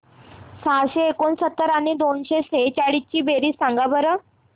सहाशे एकोणसत्तर आणि दोनशे सेहचाळीस ची बेरीज सांगा बरं